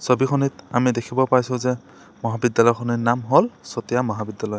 ছবিখনিত আমি দেখিব পাইছোঁ যে মহাবিদ্যালয়খনৰ নাম হ'ল চতিয়া মহাবিদ্যালয়।